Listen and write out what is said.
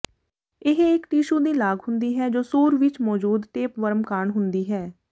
ਇਹ ਇਕ ਟਿਸ਼ੂ ਦੀ ਲਾਗ ਹੁੰਦੀ ਹੈ ਜੋ ਸੂਰ ਵਿਚ ਮੌਜੂਦ ਟੇਪਵਰਮ ਕਾਰਨ ਹੁੰਦੀ ਹੈ